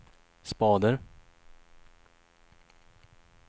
spader